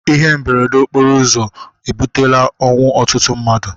Ihe mberede okporo ụzọ ebutela ọnwụ ọtụtụ mmadụ